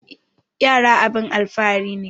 Yara abun alfahari ne